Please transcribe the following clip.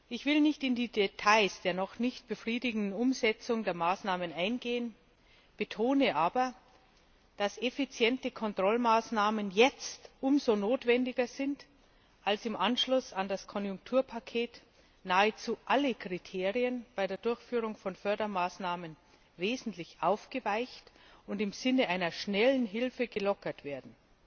Ich will nicht in die Details der noch nicht befriedigenden Umsetzung der Maßnahmen eingehen, betone aber, dass effiziente Kontrollmaßnahmen jetzt umso notwendiger sind, als im Anschluss an das Konjunkturpaket nahezu alle Kriterien bei der Durchführung von Fördermaßnahmen wesentlich aufgeweicht und im Sinne einer schnellen Hilfe gelockert werden.